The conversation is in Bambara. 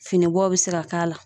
Finibɔ bɛ se ka k'a la.